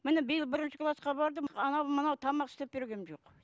міне биыл бірінші класқа бардым анау мынау тамақ істеп бергенім жоқ